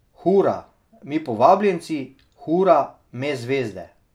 Hura, mi povabljenci, hura, me zvezde.